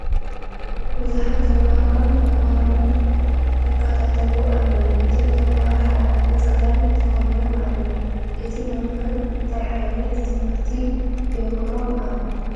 ብዙሓት ተመሃሮ ን መምህሮም ይከታተልዎ ኣለዉ ። እቶም ተመሃሮ ሓደ ዕይነት ክዳን ተከዲኖም ኣለዉ ። እቲ መምህር እንታይ ዕይነት ትምህርቲ የምህሮም ኣሎ